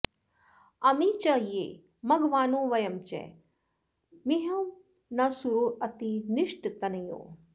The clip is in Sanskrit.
अमी च ये मघवानो वयं च मिहं न सूरो अति निष्टतन्युः